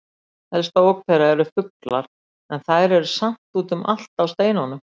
Helsta ógn þeirra eru fuglar en þær eru samt úti um allt á steinunum.